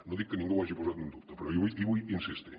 no dic que ningú ho hagi posat en dubte però hi vull insistir